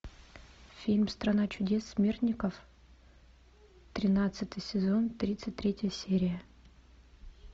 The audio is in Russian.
фильм страна чудес смертников тринадцатый сезон тридцать третья серия